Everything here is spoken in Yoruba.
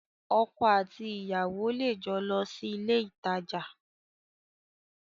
Ọkọ àti ìyàwó lè jọ lọ sí ilé ìtajà